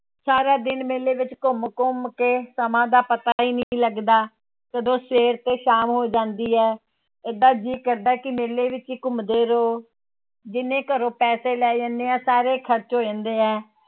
ਸਾਰਾ ਦਿਨ ਮੇਲੇ ਵਿੱਚ ਘੁੰਮ ਘੁੰਮ ਕੇ ਸਮਾਂ ਦਾ ਪਤਾ ਹੀ ਨੀ ਲੱਗਦਾ, ਕਦੋਂ ਸਵੇਰ ਤੋਂ ਸ਼ਾਮ ਹੋ ਜਾਂਦੀ ਹੈ ਏਦਾਂ ਜੀਅ ਕਰਦਾ ਹੈ ਕਿ ਮੇਲੇ ਵਿੱਚ ਹੀ ਘੁੰਮਦੇ ਰਹੋ, ਜਿੰਨੇ ਘਰੋਂ ਪੈਸੇ ਲੈ ਜਾਂਦੇ ਹਾਂ ਸਾਰੇ ਖ਼ਰਚ ਹੋ ਜਾਂਦੇ ਹੈ।